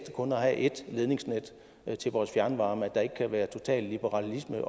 kun at have et ledningsnet til vores fjernvarme altså at der ikke kan være total liberalisme